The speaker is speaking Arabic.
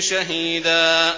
شَهِيدًا